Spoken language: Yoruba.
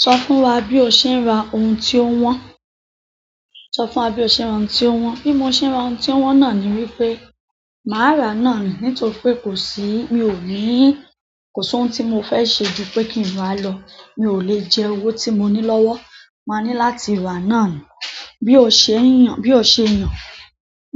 So fún wa bi o se n ra ohun ti o won sọ fún wa bí o ṣe ń ra ohun tí ó wọ́n. Bí mo ṣe ra ohun tí ó wọ́n náà ni wípé, màá rà náà ni nítorí pé kò sí-- mi ò níí, kò sí ohun tí mo fẹ́ ṣe ju pé kí n rá lọ. Mi ò le jẹ owó tí mo ní lọ́wọ́, máa ní láti rà náà ni. Bí ó ṣe ń yàn, bí ó ṣe yàn.